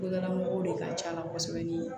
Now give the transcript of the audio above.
Dugulamɔgɔw de ka ca la kosɛbɛ ni ye